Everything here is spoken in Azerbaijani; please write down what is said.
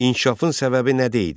İnkişafın səbəbi nə idi?